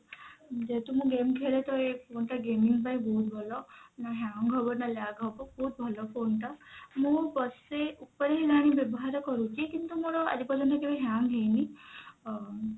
ଯେହେତୁ ମୁଁ game ଖେଳେ ତ ଏଇ phone ଟା gaming ପାଇଁ ବହୁତ ଭଲ ନା hang ହବ ନା lag ହବ ବହୁତ ଭଲ phone ଟା ମୁଁ ବର୍ଷେ ଉପରେ ଆର ବ୍ୟବାହାର କରୁଛି କିନ୍ତୁ ମୋର ଆଜି ପର୍ଯ୍ୟନ୍ତ କେବେ hang ହେଇନି ଅ